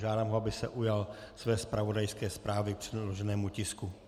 Žádám ho, aby se ujal své zpravodajské zprávy k předloženému tisku.